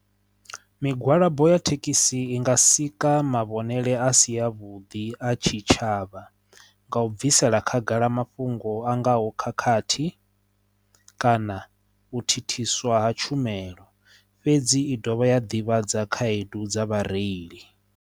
Migwalabo ya thekhisi i nga sika mavhengele a si a vhuḓi a tshitshavha nga u bvisela khagala mafhungo a ngaho khakhathi kana u thithiswa ha tshumelo fhedzi i dovha ya ḓivhadza khaedu dza vhareili.